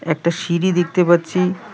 একটা সিঁড়ি দেখতে পাচ্ছি।